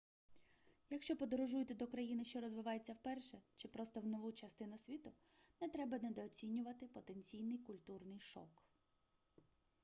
якщо подорожуєте до країни що розвивається вперше чи просто в нову частину світу не треба недооцінювати потенційний культурний шок